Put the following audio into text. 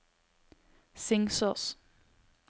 Singsås